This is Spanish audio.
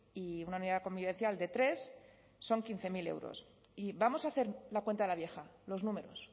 y una unidad convivencial de tres son quince mil euros y vamos a hacer la cuenta de la vieja los números